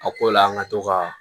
A ko la an ka to ka